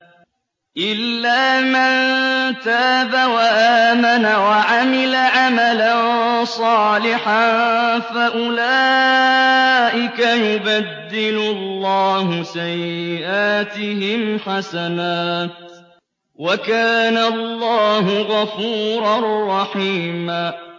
إِلَّا مَن تَابَ وَآمَنَ وَعَمِلَ عَمَلًا صَالِحًا فَأُولَٰئِكَ يُبَدِّلُ اللَّهُ سَيِّئَاتِهِمْ حَسَنَاتٍ ۗ وَكَانَ اللَّهُ غَفُورًا رَّحِيمًا